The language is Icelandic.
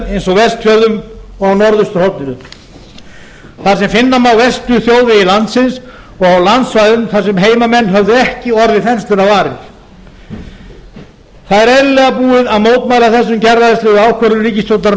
eins og vestfjörðum og á norðausturhorninu þar sem finna má verstu þjóðvegi landsins og á landsvæðum þar sem heimamenn höfðu ekki orðið þenslunnar varir það er eðlilega búið að mótmæla þessum gerræðislegu ákvörðunum ríkisstjórnarinnar